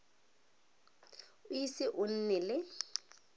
o ise o nne le